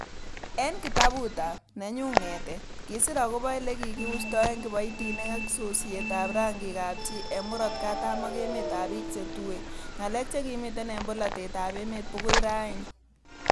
En kitabutab 'Nenyun ng'etet'Kisir agobo ele kikiusto en kiboitinikyik ak sosietab rangikab chii en Murot Katam en emetab bik che tuen, Ngalek chemiten en polotet ab emet bogoi raini.